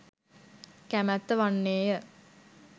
කැමැත්ත වන්නේය.